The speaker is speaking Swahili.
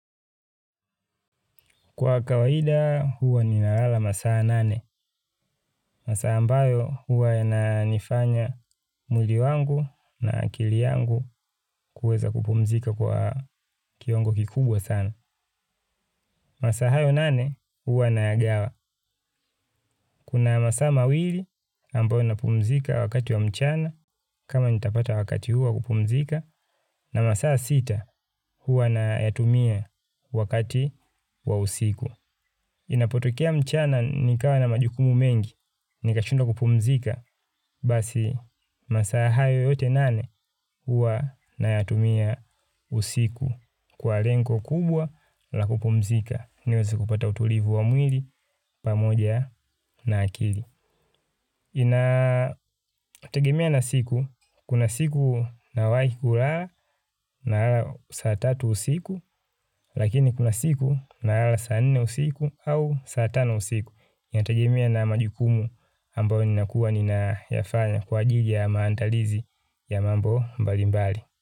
Kwa kawaida huwa ninalala masaa nane. Masaa ambayo huwa yana nifanya mwili wangu na akili yangu kuweza kupumzika kwa kiwango kikubwa sana. Masaa hayo nane huwa na yagawa. Kuna masaa mawili ambayo napumzika wakati wa mchana kama nitapata wakati huwa kupumzika. Na masaa sita huwa nayatumia wakati wa usiku. Inapotokea mchana nikawa na majukumu mengi, nikashindwa kupumzika, basi masaa hayo yote nane hua nayatumia usiku kwa lengo kubwa la kupumzika. Niweze kupata utulivu wa mwili pamoja na akili. Inategemea na siku, kuna siku nawahi kulala naala saa tatu usiku, lakini kuna siku nalala saa nne usiku au saa tano usiku. Inategemea na majukumu ambayo ninakua nina yafanya kwa ajili ya maandalizi ya mambo mbali mbali.